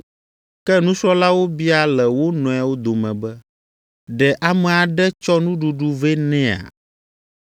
Ke nusrɔ̃lawo bia le wo nɔewo dome be, “Ɖe ame aɖe tsɔ nuɖuɖu vɛ nɛa?”